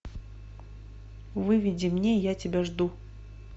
выведи мне я тебя жду